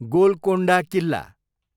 Golconda Killa